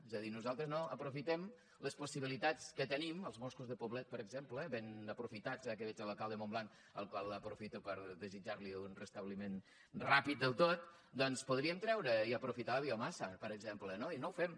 és a dir nosaltres no aprofitem les possibilitats que tenim als boscos de poblet per exemple ben aprofitats ara que veig l’alcalde de montblanc al qual aprofito per desitjarli un restabliment ràpid del tot doncs podríem treure i aprofitar la biomassa per exemple no i no ho fem